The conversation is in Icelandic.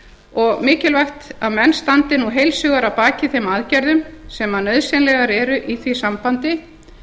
og mikilvægt að menn standi nú heils hugar að baki þeim aðgerðum sem nauðsynlegar eru í því sambandi